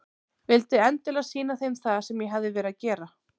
Vildi endilega sýna þeim það sem ég hafði verið að gera.